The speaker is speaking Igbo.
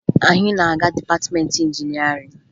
Anyị na-aga dịpatịmeentị injinịarịn